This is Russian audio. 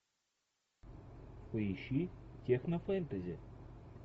поищи техно фэнтези